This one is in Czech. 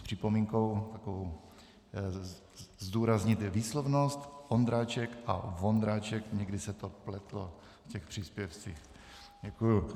S připomínkou takovou zdůraznit výslovnost - Ondráček a Vondráček, někdy se to pletlo v těch příspěvcích.